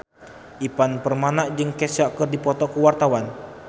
Ivan Permana jeung Kesha keur dipoto ku wartawan